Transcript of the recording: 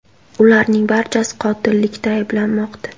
Ularning barchasi qotillikda ayblanmoqda.